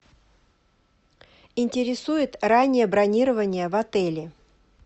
интересует раннее бронирование в отеле